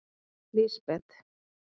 Lísbet